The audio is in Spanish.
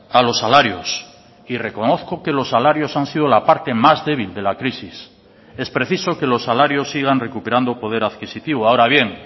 a los salarios y reconozco que los salarios han sido la parte más débil de la crisis es preciso que los salarios sigan recuperando poder adquisitivo ahora bien